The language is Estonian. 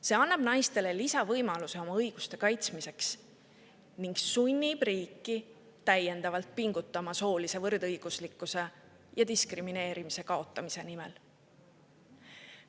See annab naistele lisavõimaluse oma õiguste kaitsmiseks ning sunnib riiki täiendavalt pingutama soolise võrdõiguslikkuse ja diskrimineerimise kaotamise nimel.